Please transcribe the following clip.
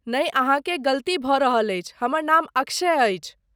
नहि अहाँकेँ गलती भऽ रहल अछि, हमर नाम अक्षय अछि।